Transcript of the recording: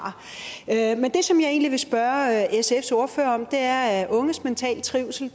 men det som jeg egentlig vil spørge sfs ordfører om er at unges mentale trivsel